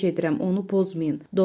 Xahiş edirəm, onu pozmayın.